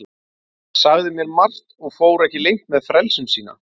Hann sagði mér margt og fór ekki leynt með frelsun sína.